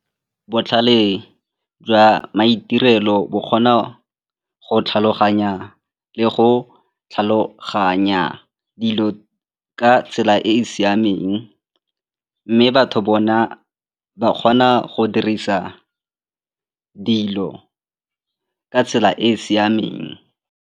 Botlhale jwa maitirelo bo kgona go tlhaloganya le go tlhaloganya dilo ka tsela e e siameng mme batho bona ba kgona go dirisa dilo ka tsela e e siameng.